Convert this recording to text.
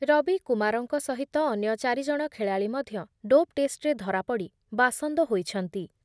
ରବିକୁମାରଙ୍କ ସହିତ ଅନ୍ୟ ଚାରି ଜଣ ଖେଳାଳି ମଧ୍ୟ ଡୋପ୍ ଟେଷ୍ଟରେ ଧରାପଡ଼ି ବାସନ୍ଦ ହୋଇଛନ୍ତି ।